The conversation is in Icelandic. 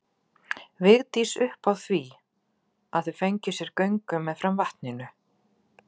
Vigdís upp á því að þau fengju sér göngu meðfram vatninu.